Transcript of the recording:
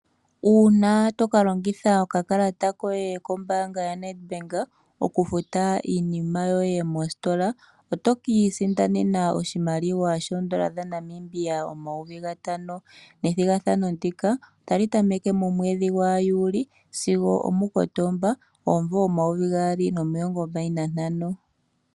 Uuna toka longitha okakalata koye kombaanga yo Nedbank, okufuta iinima yoye mositola, otokii sindanena oshimaliwa shoondola dhaNamibia, omayovi gatano. Ethigathano ndika otali tameke momwedhi gwaJuli sigo omuKotomba, omumvo omayovi gaali nomilongo mbali nantano.